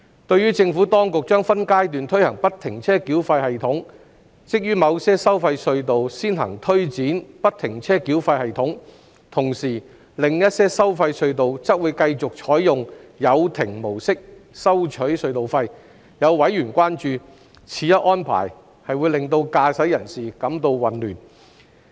對於政府當局將分階段推行不停車繳費系統，即於某些收費隧道先行推展不停車繳費系統，同時，另一些收費隧道則會繼續採用有亭模式收取隧道費。有委員關注，此一安排會令駕駛人士感到混亂。